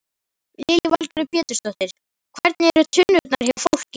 Lillý Valgerður Pétursdóttir: Hvernig eru tunnurnar hjá fólki?